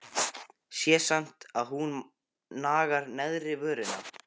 Sé samt að hún nagar neðri vörina.